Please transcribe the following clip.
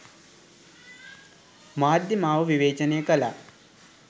මාධ්‍ය මාව විවේචනය කළා.